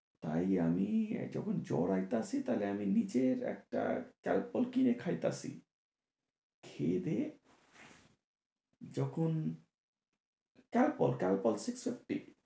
তাই আমি যখন জ্বর আইতাছে তাহলে আমি নিজের একটা কালপল কিনে খাইতাছি। খেয়ে দেয়ে যখন কালপল, কালপল six fifty